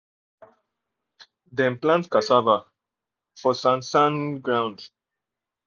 dem plant cassava for sand sand ground